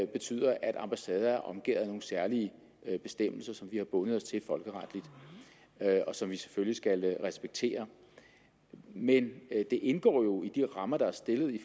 betyder at ambassader er omgærdet af nogle særlige bestemmelser som vi har bundet os til folkeretligt og som vi selvfølgelig skal respektere men det indgår jo i de rammer der er stillet i